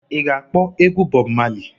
I ga-akpọ egwu Bob Marley?